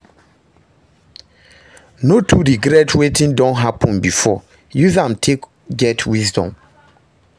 No too regret wetin don hapun bifor, use am take get wisdom